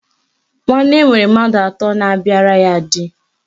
Nwanne nwere mmadụ atọ na-abịara di